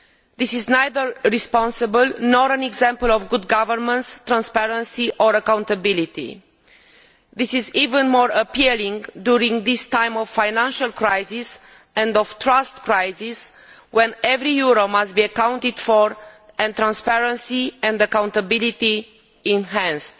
This is neither responsible nor an example of good governance, transparency or accountability and is even more appalling during this time of financial crisis and a crisis of trust, when every euro must be accounted for and transparency and accountability enhanced.